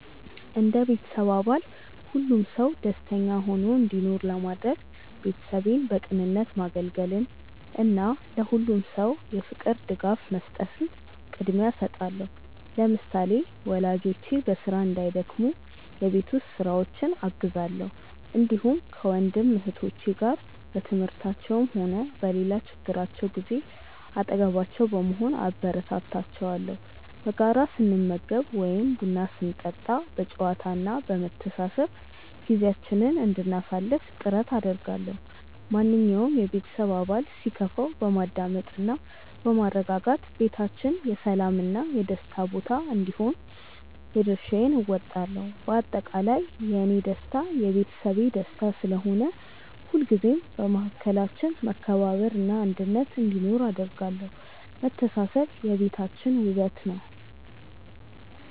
እንደ ቤተሰብ አባል ሁሉም ሰው ደስተኛ ሆኖ እንዲኖር ለማድረግ፣ ቤተሰቤን በቅንነት ማገልገልን እና ለሁሉም ሰው የፍቅር ድጋፍ መስጠትን ቅድሚያ እሰጣለሁ። ለምሳሌ፣ ወላጆቼ በስራ እንዳይደክሙ የቤት ውስጥ ስራዎችን አግዛለሁ፣ እንዲሁም ከወንድም እህቶቼ ጋር በትምህርታቸውም ሆነ በሌላ ችግራቸው ጊዜ አጠገባቸው በመሆን አበረታታቸዋለሁ። በጋራ ስንመገብ ወይም ቡና ስንጠጣ በጨዋታ እና በመተሳሰብ ጊዜያችንን እንድናሳልፍ ጥረት አደርጋለሁ። ማንኛውም የቤተሰብ አባል ሲከፋው በማዳመጥ እና በማረጋጋት ቤታችን የሰላም እና የደስታ ቦታ እንዲሆን የድርሻዬን እወጣለሁ። በአጠቃላይ፣ የእኔ ደስታ የቤተሰቤ ደስታ ስለሆነ፣ ሁልጊዜም በመካከላችን መከባበር እና አንድነት እንዲኖር አደርጋለሁ። መተሳሰብ የቤታችን ውበት ነው።